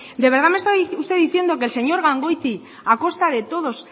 de verdad usted me está diciendo que el señor gangoiti a costa de todos